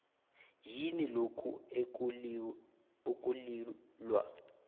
yini lokho ekulilwa